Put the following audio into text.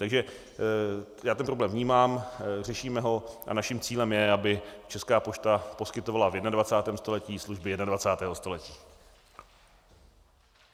Takže já ten problém vnímám, řešíme ho a naším cílem je, aby Česká pošta poskytovala v 21. století služby 21. století.